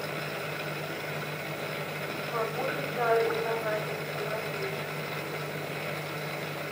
могу ли я арендовать автомобиль здесь